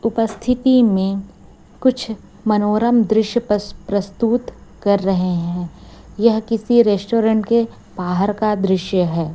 उपस्थिति में कुछ मनोरम दृश्य प्रस्तुत कर रहे हैं यह किसी रेस्टोरेंट के बाहर का दृश्य है।